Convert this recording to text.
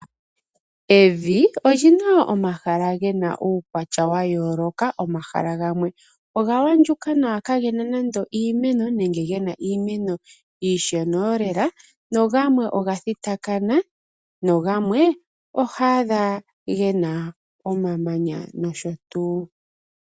Evi, olyina omahala gena uukwatya wa yooloka, omahala gamwe oga andjuka nawa ka gena nando iimeno, nenge gena iimeno iishona oolela, nogamwe oga thitakana, nogamwe oho adha gena omamanya nosho tuu.